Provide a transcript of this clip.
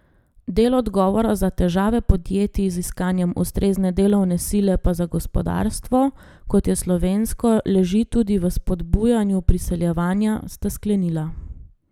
Del odgovora za težave podjetij z iskanjem ustrezne delovne sile pa za gospodarstvo, kot je slovensko, leži tudi v spodbujanju priseljevanja, sta sklenila.